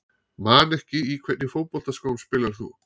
Man ekki Í hvernig fótboltaskóm spilar þú?